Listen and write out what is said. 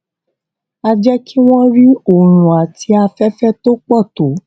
á jé kí wón rí oòrùn àti aféfé tó pò tó